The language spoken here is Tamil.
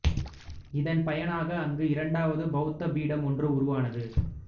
இதன் பயனாக அங்கு இரண்டாவது பௌத்த பீடம் ஒன்று உருவானது